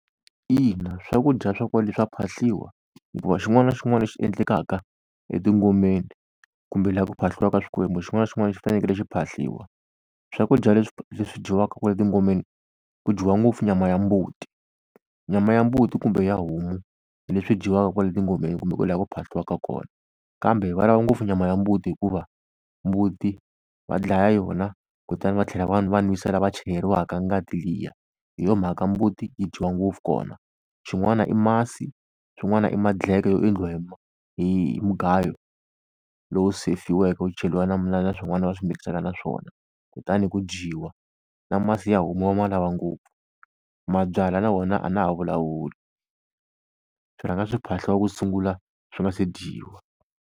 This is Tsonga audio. Ina, swakudya swa kwale swa phahliwa, hikuva xin'wana na xin'wana lexi endlekaka etingomeni kumbe laha ku phahliwaka swikwembu xin'wana na xin'wana xi fanekele xi phahliwa. Swakudya leswi leswi dyiwaka kwale tingomeni ku dyiwa ngopfu nyama ya mbuti nyama ya mbuti kumbe ya homu leswi dyiwaka kwale tingomeni kumbe kwala ku phahliwaka kona. Kambe va lava ngopfu nyama ya mbuti, hikuva mbuti va dlaya yona kutani va tlhela va va n'wisa lava chayeriwaka ngati liya. Hi yo mhaka mbuti yi dyiwa ngopfu kona. Xin'wana i masi, swin'wana i madleke yo endliwa hi hi mugayo lowu sefiweke wu cheriwa na swin'wana va swi mikisana na swona kutani ku dyiwa. Na masi ya homu va ma lava ngopfu, mabyalwa wona a na ha vulavuli, swi rhanga swi phahliwa ku sungula swi nga se dyiwa.